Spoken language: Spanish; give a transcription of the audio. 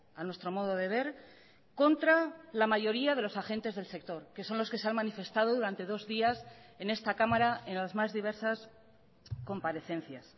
a nuestro modo de ver contra la mayoría de los agentes del sector que son los que se han manifestado durante dos días en esta cámara en las más diversas comparecencias